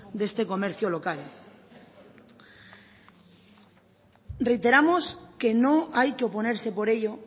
de este comercio local reiteramos que no hay que oponerse por ello